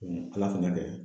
Ala fɛnɛ y'a kɛ